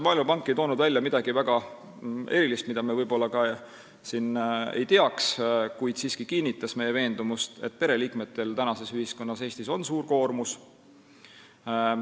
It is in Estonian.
Maailmapank ei toonud välja midagi väga erilist, mida me ei teaks, kuid ta siiski kinnitas meie veendumust, et pereliikmetel tänases Eestis on suur koormus.